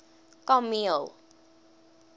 kameel